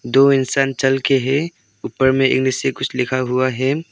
दो इंसान चल के है ऊपर में इंग्लिश से कुछ लिखा हुआ है।